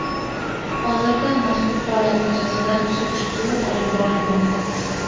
Hozirda mazkur holat yuzasidan surishtiruv olib borilmoqda.